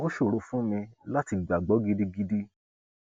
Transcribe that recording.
ó ṣòro fún mi láti gbàgbọ gidigidi